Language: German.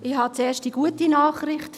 Ich habe zuerst eine gute Nachricht: